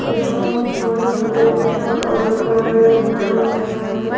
यहाँ पर कोई सा कार्यकालय बना हुआ हैं।